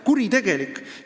Kuritegelik!